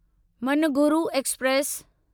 Manuguru express